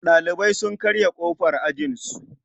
Ɗalibai sun karya ƙofar ajinsu.